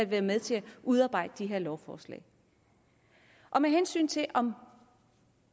været med til at udarbejde de her lovforslag med hensyn til om